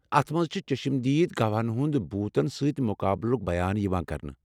اتھ منٛز چھ چشم دیٖد گواہن ہنٛد بھوٗتن سۭتۍ مُقابلُک، بیان یوان کرنہٕ ۔